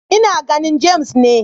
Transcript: Ina ganin James ne.